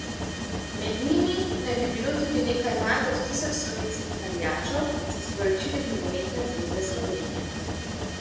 Med njimi naj bi bilo tudi nekaj manj kot tisoč slovenskih navijačev, so sporočili z Nogometne zveze Slovenije.